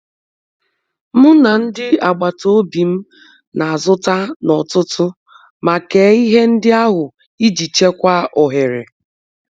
M na ndị agbata obi m na-azụta n’ọtụtù ma kee ihe ndị ahụ iji chekwaa ohere.